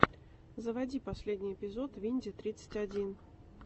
заводи последний эпизод винди тридцать один